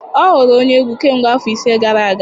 Ọ ghọrọ onye egwu kemgbe afọ ise gara aga